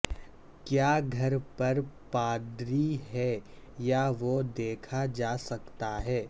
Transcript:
کیا گھر پر پادری ہے یا وہ دیکھا جا سکتا ہے